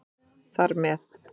Þar með